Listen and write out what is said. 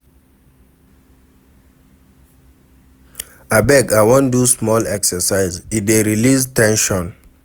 Abeg, I wan do small exercise, e dey release ten sion."